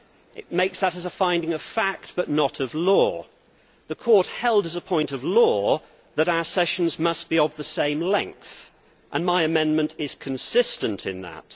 It makes that as a finding of fact, but not of law. The court held as a point of law that our sessions must be of the same length, and my amendment is consistent in that.